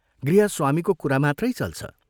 गृहस्वामीको कुरा मात्रै चल्छ।